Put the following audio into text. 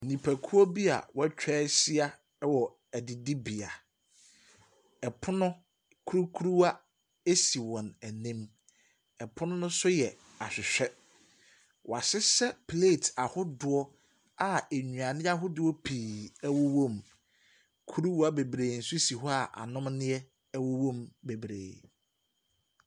Nnipakuo bi a wɔatwa ahyia wɔ adidibea. Pono kurukuruwa si wɔn anim. Pono no so yɛ ahwehwɛ. Wɔahyehyɛ plate ahodoɔ a nnuane ahodoɔ pii wowom. Kuruwa bebree nso si hɔ a anonneɛ wowɔ mu bebree.